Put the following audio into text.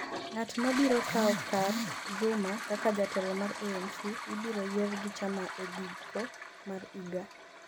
ng'at ma biro kawo kar Zuma kaka jatelo mar ANC ibiro yier gi chama e giko mar higa